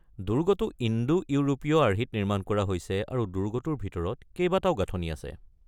দুৰ্গটো ইণ্ডো-ইউৰোপীয় আৰ্হিত নিৰ্মাণ কৰা হৈছে আৰু দুৰ্গটোৰ ভিতৰত কেইবাটাও গাঁথনি আছে।